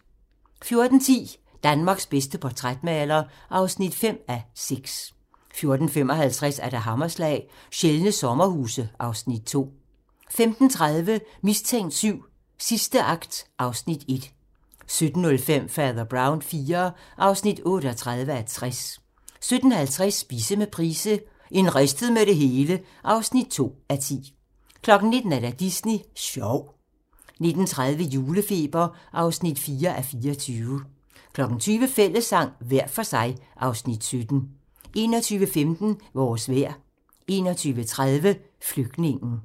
14:10: Danmarks bedste portrætmaler (5:6) 14:55: Hammerslag - Sjældne sommerhuse (Afs. 2) 15:30: Mistænkt 7: Sidste akt (Afs. 1) 17:05: Fader Brown IV (38:60) 17:50: Spise med Price - en ristet med det hele (2:10) 19:00: Disney sjov 19:30: Julefeber (4:24) 20:00: Fællessang - hver for sig (Afs. 17) 21:15: Vores vejr 21:30: Flygtningen